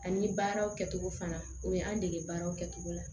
Ani baaraw kɛcogo fana o ye an dege baaraw kɛcogo la